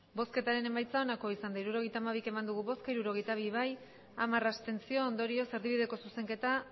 hirurogeita hamabi eman dugu bozka hirurogeita bi bai hamar abstentzio ondorioz erdibideko zuzenketa